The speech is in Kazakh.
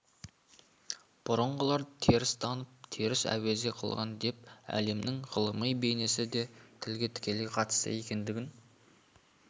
бұрынғылар теріс танып теріс әуезе қылған деп әлемнің ғылыми бейнесі де тілге тікелей қатысты екендігін